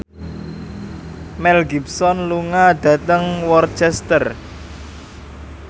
Mel Gibson lunga dhateng Worcester